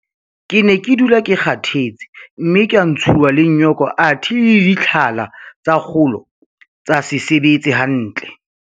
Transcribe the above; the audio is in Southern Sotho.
Ke ne ke dula ke kgathetse mme ka ntshuwa le nyoko athe le ditlhala tsa kgolo tsa se sebetse hantle.